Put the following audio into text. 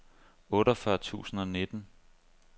otteogfyrre tusind og nitten